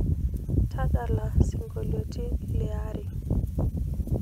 tadala siongolitin liaare